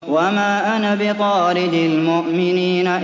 وَمَا أَنَا بِطَارِدِ الْمُؤْمِنِينَ